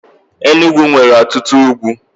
Enugwu nwere ọtụtụ ugwu.